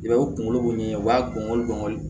I b'a ye u kunkolo b'u ɲɛ u b'a gɔngɔn